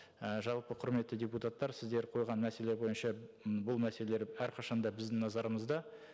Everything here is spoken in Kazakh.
і жалпы құрметті депутаттар сіздер қойған мәселелер бойынша м бұл мәселелер әрқашан да біздің назарымызда